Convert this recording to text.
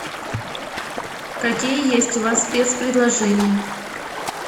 какие есть у вас спецпредложения